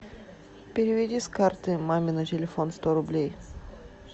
переведи с карты маме на телефон сто рублей